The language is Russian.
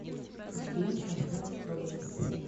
сбер поставь проблемс